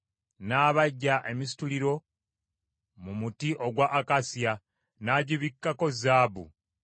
N’abajja emisituliro mu muti ogwa akasiya, n’agibikkako zaabu,